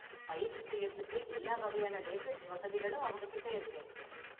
பயிற்சி செய்யறதுக்கு எல்லா வகையான லேட்டஸ்ட் வசதிகளும் அவங்க கிட்டே இருக்கு.